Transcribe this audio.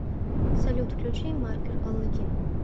салют включи маркер аладдин